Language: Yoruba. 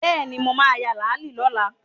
Bẹ́ẹ̀ni, mo ma ya làálí lọ́la